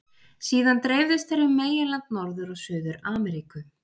Síðan dreifðust þeir um meginland Norður- og Suður-Ameríku.